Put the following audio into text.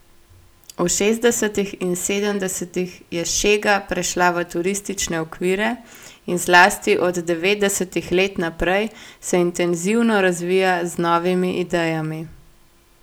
V šestdesetih in sedemdesetih je šega prešla v turistične okvire in zlasti od devetdesetih let naprej se intenzivno razvija z novimi idejami.